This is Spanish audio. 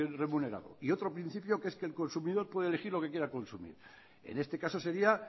remunerado y otro principio que es que el consumidor puede elegir lo que quiera consumir en este caso sería